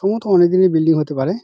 সম্ভবথ অনেক দিনের বিল্ডিং হতে পারে।